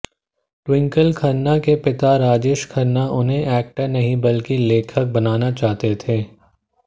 twinkle Khanna के पिता राजेश खन्ना उन्हें एक्टर नहीं बल्कि लेखक बनाना चाहते थे